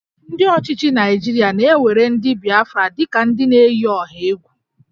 Ndị ọchịchị Naịjirịa na-ewere ndị Bịafra dị ka ndị na-eyi ọha egwu